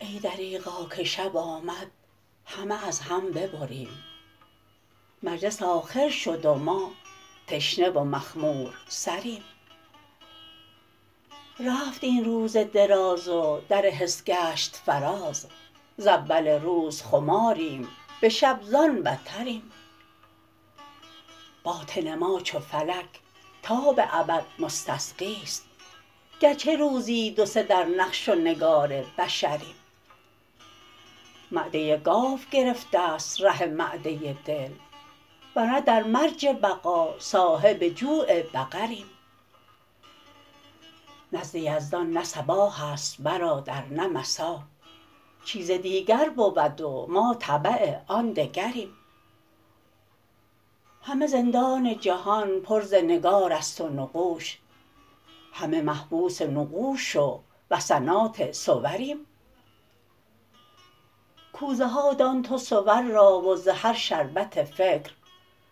ای دریغا که شب آمد همه از هم ببریم مجلس آخر شد و ما تشنه و مخمورسریم رفت این روز دراز و در حس گشت فراز ز اول روز خماریم به شب زان بتریم باطن ما چو فلک تا به ابد مستسقی است گرچه روزی دو سه در نقش و نگار بشریم معده گاو گرفته ست ره معده دل ور نه در مرج بقا صاحب جوع بقریم نزد یزدان نه صباح است برادر نه مسا چیز دیگر بود و ما تبع آن دگریم همه زندان جهان پر ز نگارست و نقوش همه محبوس نقوش و وثنات صوریم کوزه ها دان تو صور را و ز هر شربت فکر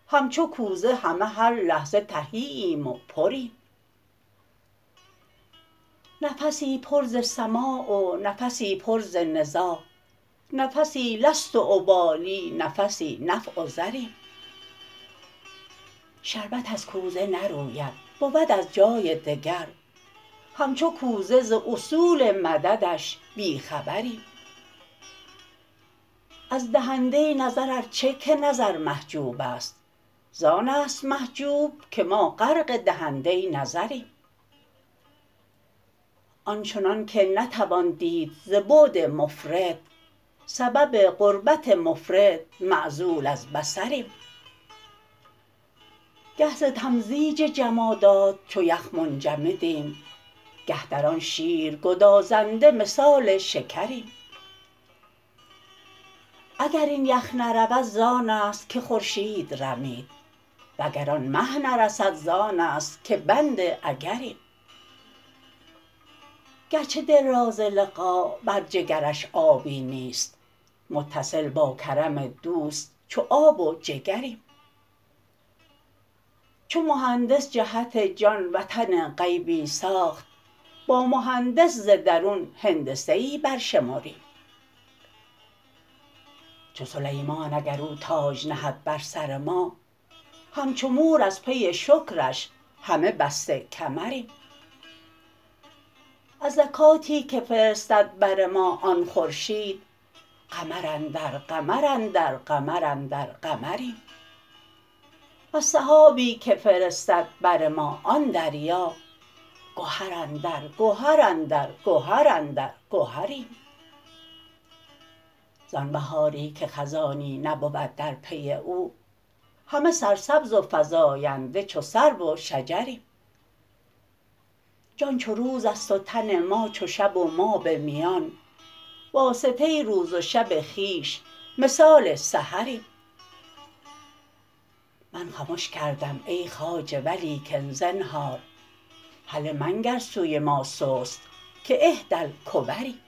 همچو کوزه همه هر لحظه تهی ایم و پریم نفسی پر ز سماع و نفسی پر ز نزاع نفسی لست ابالی نفسی نفع و ضریم شربت از کوزه نروید بود از جای دگر همچو کوزه ز اصول مددش بی خبریم از دهنده نظر ار چه که نظر محجوب است زان است محجوب که ما غرق دهنده نظریم آن چنانک نتوان دید ز بعد مفرط سبب قربت مفرط معزول از بصریم گه ز تمزیج جمادات چو یخ منجمدیم گه در آن شیر گدازنده مثال شکریم اگر این یخ نرود زان است که خورشید رمید وگر آن مه نرسد زان است که بند اگریم گرچه دل را ز لقا بر جگرش آبی نیست متصل با کرم دوست چو آب و جگریم چو مهندس جهت جان وطن غیبی ساخت با مهندس ز درون هندسه ای برشمریم چو سلیمان اگر او تاج نهد بر سر ما همچو مور از پی شکرش همه بسته کمریم از زکاتی که فرستد بر ما آن خورشید قمر اندر قمر اندر قمر اندر قمریم وز سحابی که فرستد بر ما آن دریا گهر اندر گهر اندر گهر اندر گهریم زان بهاری که خزانی نبود در پی او همه سرسبز و فزاینده چو سرو و شجریم جان چو روز است و تن ما چو شب و ما به میان واسطه روز و شب خویش مثال سحریم من خمش کردم ای خواجه ولیکن زنهار هله منگر سوی ما سست که احدی الکبریم